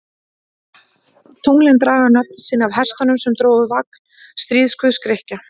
Tunglin draga nöfn sín af hestunum sem drógu vagn stríðsguðs Grikkja.